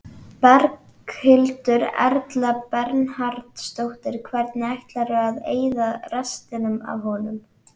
Berghildur Erla Bernharðsdóttir: Hvernig ætlarðu að eyða restinni af honum?